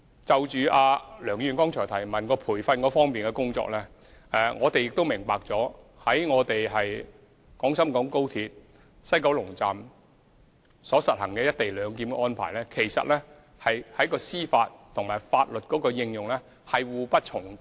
就梁議員剛才所提有關培訓工作的補充質詢，我們亦明白在廣深港高鐵西九龍站實行"一地兩檢"安排，在司法和法律運用上其實是互不重疊。